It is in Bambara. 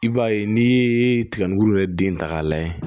I b'a ye n'i ye tigabulu yɛrɛ den ta k'a lajɛ